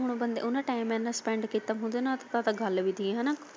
ਜੇ ਹੁਣ ਬੰਦੇ ਉਹਨਾ ਟੈਮ ਇੰਨਾਂ spend ਕੀਤਾ ਉਦੇ ਨਾਲ ਤਾਂ ਤਾਂ ਗੱਲ ਵੀ ਕੀ।